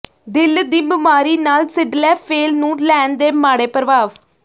ਦਿਲ ਦੀ ਬਿਮਾਰੀ ਨਾਲ ਸਿੱਡਲੈਫੇਲ ਨੂੰ ਲੈਣ ਦੇ ਮਾੜੇ ਪ੍ਰਭਾਵ